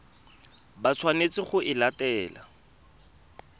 ba tshwanetseng go e latela